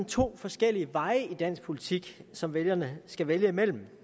to forskellige veje i dansk politik som vælgerne skal vælge imellem